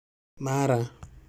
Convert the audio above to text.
Mara